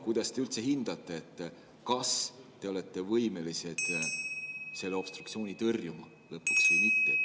Kuidas te üldse hindate , kas te olete võimelised seda obstruktsiooni lõpuks tõrjuma või mitte?